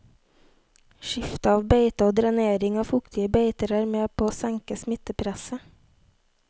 Skifte av beite og drenering av fuktige beiter er med på å senke smittepresset.